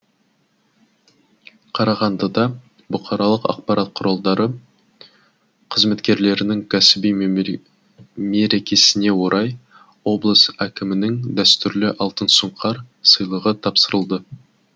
қарағандыда бұқаралық ақпарат құралдары қызметкерлерінің кәсіби мерекесіне орай облыс әкімінің дәстүрлі алтын сұңқар сыйлығы тапсырылды